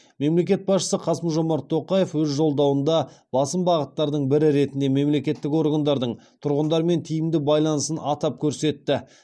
мемлекет басшысы қасым жомарт тоқаев өз жолдауында басым бағыттардың бірі ретінде мемлекеттік органдардың тұрғындармен тиімді байланысын атап көрсетті